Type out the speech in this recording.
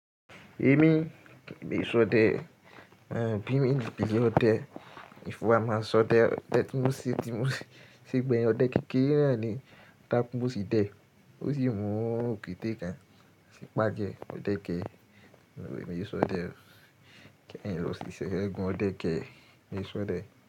Èmi mi sọdẹ, bí mi di ìyọ́ ọdẹ, ìfowó a máa sọdẹ. Ọdẹ tí mo ṣe tí mo ṣe gbẹ̀yìn, ọdẹ kékeré náà ni taku n mo sì dẹ̀ ẹ́, ó sì mú òkété kan sì pájẹ. Ọdẹ kẹ, èmi e sọdẹ o, kí lo sì ṣẹ̀, ẹ́gún ọdẹ kẹ, èmi e sọdẹ.